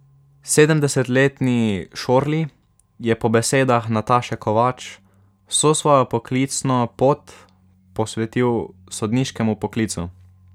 Sedemdesetletni Šorli je po besedah Nataše Kovač vso svojo poklicno pot posvetil sodniškemu poklicu.